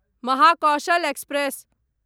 Mahakaushal express